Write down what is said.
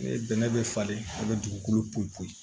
Bɛnɛ bɛ falen a bɛ dugukolo poyi poyi